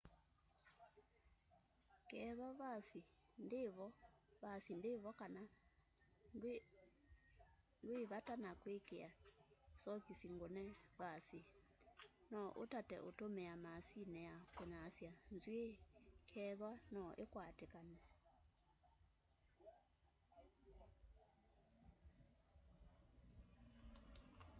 kethwa vasi ndivo kana ndwi vata na kwikia sokisi ngune vasi no utate utumia maasini ya kunyasya nzwii kethwaa no ikwatikane